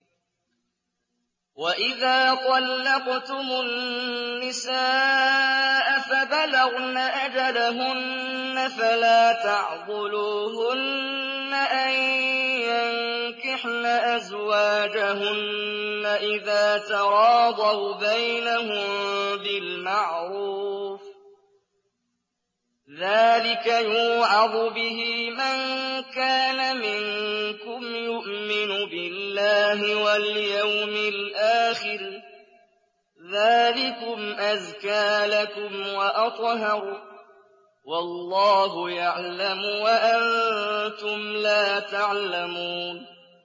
وَإِذَا طَلَّقْتُمُ النِّسَاءَ فَبَلَغْنَ أَجَلَهُنَّ فَلَا تَعْضُلُوهُنَّ أَن يَنكِحْنَ أَزْوَاجَهُنَّ إِذَا تَرَاضَوْا بَيْنَهُم بِالْمَعْرُوفِ ۗ ذَٰلِكَ يُوعَظُ بِهِ مَن كَانَ مِنكُمْ يُؤْمِنُ بِاللَّهِ وَالْيَوْمِ الْآخِرِ ۗ ذَٰلِكُمْ أَزْكَىٰ لَكُمْ وَأَطْهَرُ ۗ وَاللَّهُ يَعْلَمُ وَأَنتُمْ لَا تَعْلَمُونَ